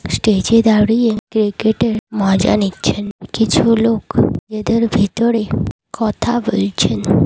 Stage -এ দাঁড়িয়ে cricket -এর মজা নিচ্ছেন কিছু লোক নিজেদের ভিতরে কথা বলছেন।